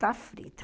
Está frita.